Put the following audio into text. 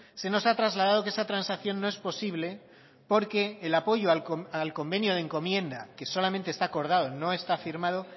se nos ha trasladado que esa transacción no es posible porque el apoyo al convenio de encomienda que solamente está acordado no está firmado